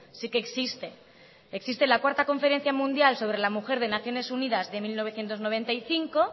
sí que existe existe la cuarta conferencia mundial sobre la mujer de naciones unidas de mil novecientos noventa y cinco